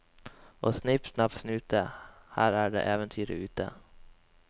Og snipp snapp snute, her er det eventyret ute.